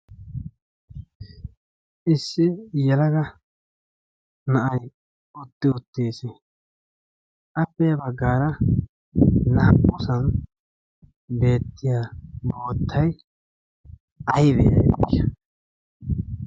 issi yalaga na'ay utti uttiis. appea baggaara naa'usan beettiya boottay aybe?